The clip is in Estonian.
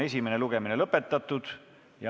Esimene lugemine on lõpetatud.